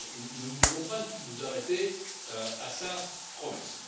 Nous ne devons pas nous arrêter à sa promesse.